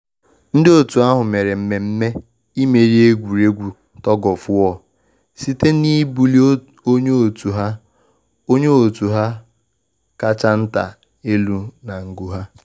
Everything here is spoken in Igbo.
Ndị otu ahụ mere mmemme imeri egwuregwu tug-of-war site na ibuli onye otu ha onye otu ha kacha nta elu na ngu ha